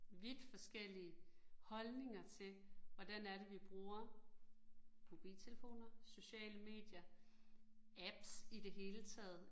Vidt forskellige holdninger til, hvordan er det vi bruger mobiltelefoner, sociale medier, apps i det hele taget